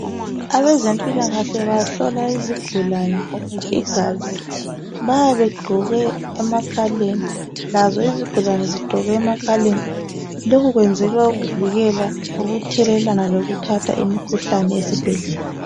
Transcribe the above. Abezempilakahle bahlola izigulane igazi bayabe begqoke emakhaleni lazo izigulane zigqoke emakhaleni lokhu kwenzelwa ukuvikela ukuthelelana lokuthatha imikhuhlane esibhedlela.